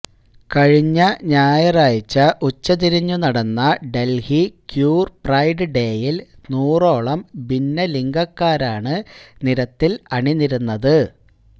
കഴിഞ്ഞ ഞായറാഴ്ച്ച ഉച്ചതിരിഞ്ഞു നടന്ന ഡൽഹി ക്യൂർ പ്രൈഡ് ഡേയിൽ നൂറോളം ഭിന്നലിംഗക്കാരാണ് നിരത്തിൽ അണിനിരന്നത്